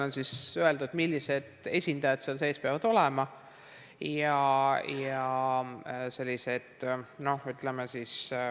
On öeldud, millised esindajad seal peavad olema.